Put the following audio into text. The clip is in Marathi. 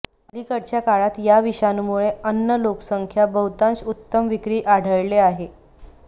अलीकडच्या काळात या विषाणूमुळे अन्न लोकसंख्या बहुतांश उत्तम विक्री आढळले आहे